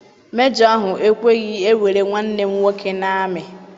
Mejọ ahụ ekweghị ewere nwanne m nwoke n'ami.